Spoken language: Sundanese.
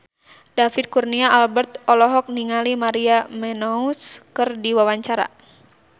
David Kurnia Albert olohok ningali Maria Menounos keur diwawancara